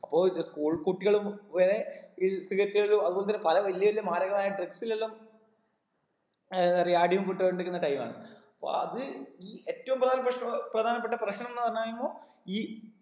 അപ്പൊ ഇത് school കുട്ടികളും വരെ ഈ cigarette കൾ അഹ് ഒന്നന്നര പല വലിയ വലിയ മാരകമായ drugs ൽ എല്ലാം ഏർ എന്തറിയ അടിമപ്പെട്ടു കൊണ്ടിരിക്കുന്ന time ആണ് അപ്പൊ അത് ഈ ഏറ്റവും പ്രധാന പ്രശ്നം പ്രധാനപ്പെട്ട പ്രശ്നംന്ന് പറഞ്ഞ് കഴിഞ്ഞയുമ്പൊ ഈ